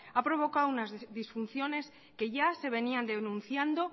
ha provocado unas disfunciones que ya se venían denunciando